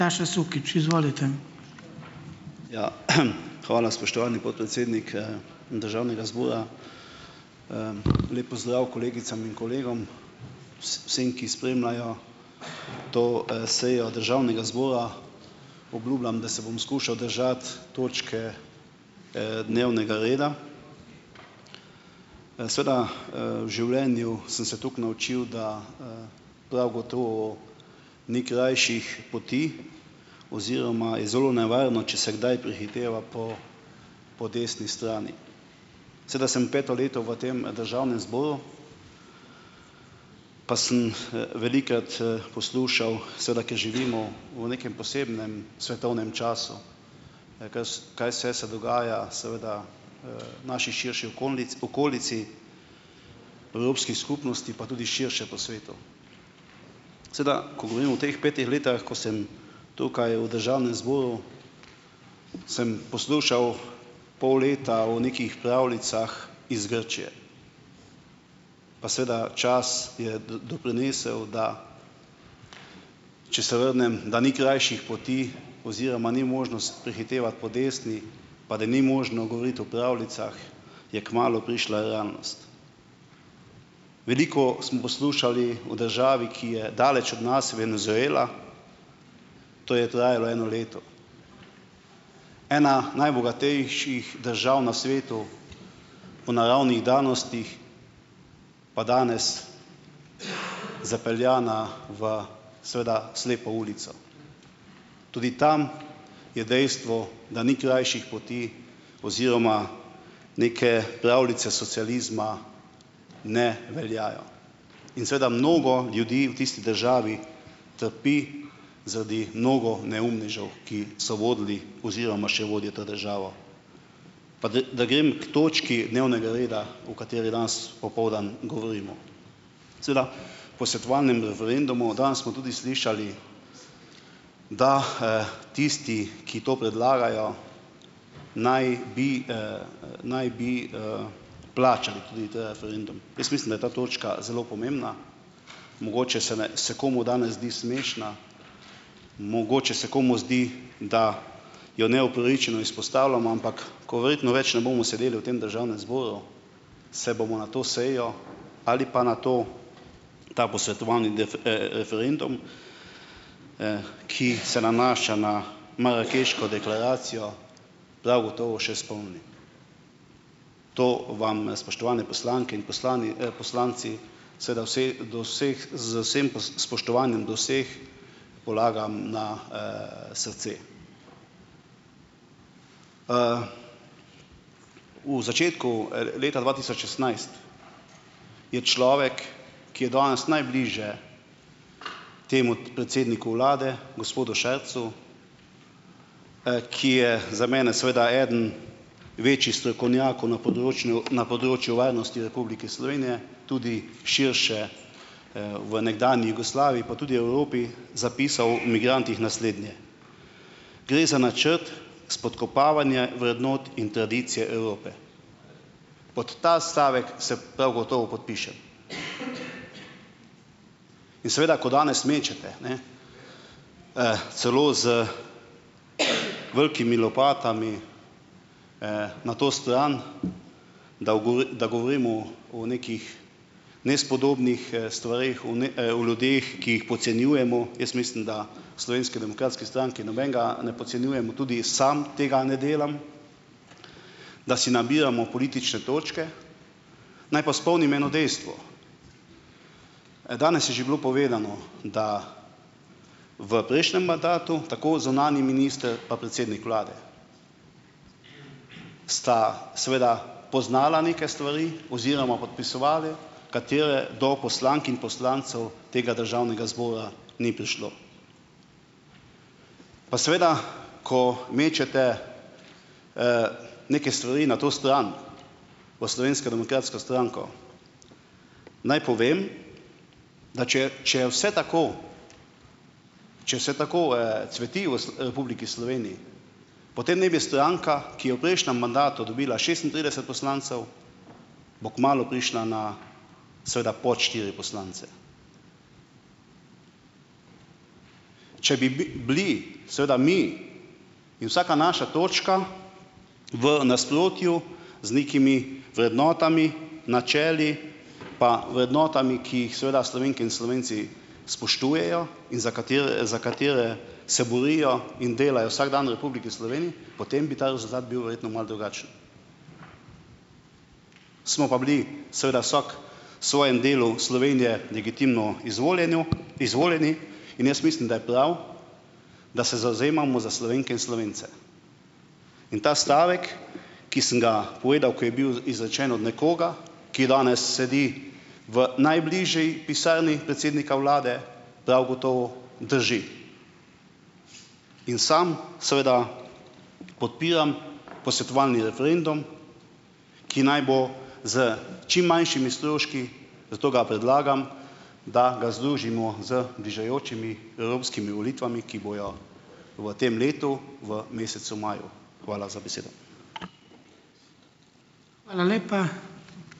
Ja, hvala, spoštovani podpredsednik, državnega zbora. Lep pozdrav kolegicam in kolegom. Vsem, ki spremljajo to, sejo državnega zbora, obljubljam, da se bom skušal držati točke, dnevnega reda. Seveda, v življenju sem se tako naučil, da, prav gotovo ni krajših poti oziroma je zelo nevarno, če se kdaj prehiteva po po desni strani. Seveda sem peto leto v tem državnem zboru, pa sem, velikokrat, poslušal seveda, ker živimo v nekem posebnem svetovnem času, ne, kaj kaj vse se dogaja seveda, v naši širši okolici, Evropski skupnosti, pa tudi širše po svetu. Seveda, ko govorim o teh petih letih, ko sem tukaj v državnem zboru, sem poslušal pol leta o nekih pravljicah iz Grčije. Pa seveda čas je doprinesel, da če se vrnem, da ni krajših poti oziroma ni možnost prehitevati po desni, pa da ni možno govoriti o pravljicah, je kmalu prišla realnost. Veliko smo poslušali o državi, ki je daleč od nas, Venezuela, to je trajalo eno leto. Ena najbogatejših držav na svetu v naravnih danostih, pa danes zapeljana v seveda slepo ulico. Tudi tam je dejstvo, da ni krajših poti oziroma neke pravljice socializma ne veljajo. In seveda mnogo ljudi v tisti državi trpi zaradi mnogo neumnežev, ki so vodili oziroma še vodijo državo. Pa da da grem k točki dnevnega reda, o kateri danes popoldan govorimo. Seveda o posvetovalnem referendumu, danes smo tudi slišali, da, tisti, ki to predlagajo, naj bi, naj bi, plačali tudi ta referendum. Jaz mislim, da je ta točka zelo pomembna. Mogoče se, ne, se komu danes zdi smešna, mogoče se komu zdi, da jo neupravičeno izpostavljam, ampak ko verjetno več ne bomo sedeli v tem državnem zboru, se bomo na to sejo, ali pa na to, ta posvetovali referendum, ki se nanaša na marakeško deklaracijo, prav gotovo še spomnili. To vam, spoštovane poslanke in poslanci, poslanci, seveda vse do vseh z vsem spoštovanjem do vseh, polagam na, srce. V začetku, leta dva tisoč šestnajst je človek, ki je danes najbliže temu predsedniku vlade, gospodu Šarcu, ki je za mene seveda eden večjih strokovnjakov na področnu na področju varnosti Republike Slovenije, tudi širše, v nekdanji Jugoslaviji pa tudi Evropi zapisal o migrantih naslednje: "Gre za načrt spodkopavanje vrednot in tradicije Evrope." Pod ta stavek se prav gotovo podpišem. In seveda, ko danes mečete, ne, celo z velikimi lopatami na to stran, da da govorimo o nekih nespodobnih, stvareh, o o ljudeh, ki jih podcenjujemo, jaz mislim, da v Slovenski demokratski stranki nobenega ne podcenjujemo, tudi sam tega ne delam; da si nabiramo politične točke. Naj pa spomnim eno dejstvo. Danes je že bilo povedano, da v prejšnjem mandatu, tako zunanji minister pa predsednik vlade, sta seveda poznala neke stvari oziroma podpisovala, katere do poslank in poslancev tega državnega zbora ni prišlo. Pa seveda, ko mečete neke stvari na to stran, v Slovensko demokratsko stranko, naj povem, da če je, če je vse tako, če vse tako, cveti v v Republiki Sloveniji, potem ne bi stranka, ki je v prejšnjem mandatu dobila šestintrideset poslancev, bo kmalu prišla na, seveda pod štiri poslance. Če bi bili seveda mi in vsaka naša točka v nasprotju z nekimi vrednotami, načeli pa vrednotami, ki jih seveda Slovenke in Slovenci spoštujejo in za katere, za katere se borijo in delajo vsak dan v Republiki Sloveniji, potem bi ta rezultat bil verjetno malo drugačen. Smo pa bili seveda vsak svojem delu Slovenije legitimno izvoljeno izvoljeni in jaz mislim, da je prav, da se zavzemamo za Slovenke in Slovence. In ta stavek, ki sem ga povedal, ko je bil izrečen od nekoga, ki je danes sedi v najbližji pisarni predsednika vlade, prav gotovo drži. In sam seveda podpiram posvetovalni referendum, ki naj bo s čim manjšimi stroški, zato ga predlagam, da ga združimo z bližajočimi evropskimi volitvami, ki bojo v tem letu v mesecu maju. Hvala za besedo.